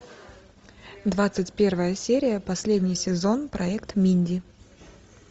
двадцать первая серия последний сезон проект минди